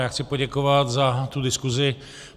Já chci poděkovat za tu diskuzi.